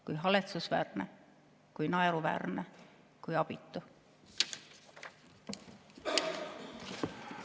Kui haletsusväärne, kui naeruväärne, kui abitu!